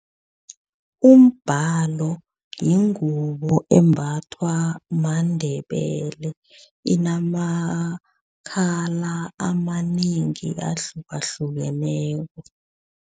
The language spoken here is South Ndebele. Umbalo yingubo embathwa maNdebele. Inamakhala amanengi ahlukahlukeneko.